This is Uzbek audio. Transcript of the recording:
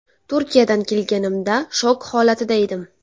Turkiyadan kelganimda shok holatida edim.